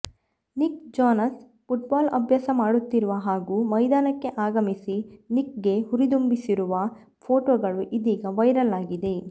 Nick Jonas football ಅಭ್ಯಾಸ ಮಾಡುತ್ತಿರುವ ಹಾಗೂ ಮೈದಾನಕ್ಕೆ ಆಗಮಿಸಿ ನಿಕ್ ಗೆ ಹುರಿದುಂಬಿಸಿರುವ ಫೋಟೋಗಳು ಇದೀಗ ವೈರಲ್ ಆಗಿದೆ